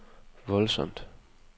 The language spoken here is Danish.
voldsomt